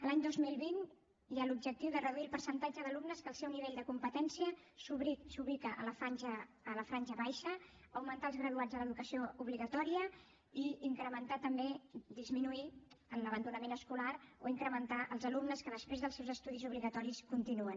l’any dos mil vint hi ha l’objectiu de reduir el percentatge d’alumnes que el seu nivell de competència s’ubica a la franja baixa augmentar els graduats a l’educació obligatòria i disminuir l’abandonament escolar o incrementar els alumnes que després dels seus estudis obligatoris continuen